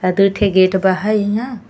आ दो ठे गेट बा है इहा।